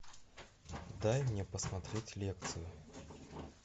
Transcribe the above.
дай мне посмотреть лекцию